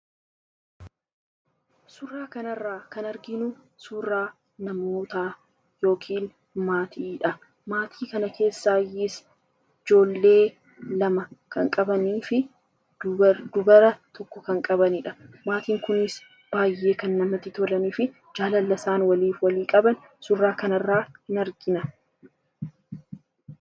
Suuraa kana irra kan arginuu suuraa namoootaa yookiin maatiidha. Maatii kana keessaa baay'ee ijjoolee lama kan qabanii fi ijjoollee dubaraa tokko kan qabanidha. Maatiin kunis baay'ee kana namatti tolaani fi jaalala isaan waliif qaban suuraa kana irra in argina.